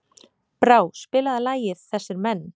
Brá, spilaðu lagið „Þessir Menn“.